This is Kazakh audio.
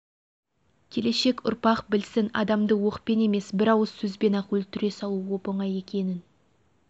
келешек ұрпақ білсін адамды оқпен емес бір ауыз сөзбен-ақ өлтіре салу оп-оңай екенін